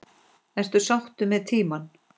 Ertu sáttur með tímann?